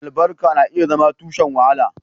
Albarka na iya zama tushen wahayi.